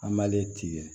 An m'ale tigɛ